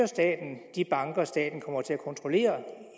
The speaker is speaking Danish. de banker staten kommer til at kontrollere